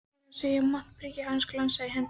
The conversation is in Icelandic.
Meira að segja montprikið glansaði í hendi hans.